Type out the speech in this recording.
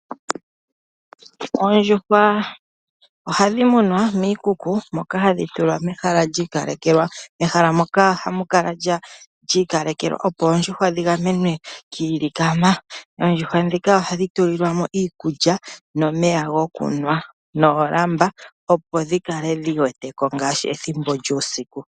Oondjuhwa ohadhi munwa miikuku moka hadhi tulwa mehala li ikalekelwa. Ehala ndyoka ohali kala li ikalekelwa opo oondjuhwa dhigamenwe kiilikama. Oondjuhwa ohadhi tulilwa mo iikulya nomeya gokunwa noolamba opo dhikale dhi weteko ngaashi ethimbo lyuusiku.